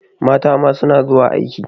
Mata ma suna zuwa aiki.